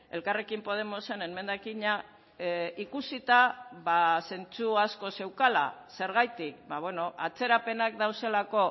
elkarrekin podemosen emendakina ikusita zentzu asko zeukala zergatik atzerapenak daudelako